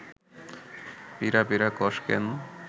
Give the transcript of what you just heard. পিঁড়া পিঁড়া কস ক্যান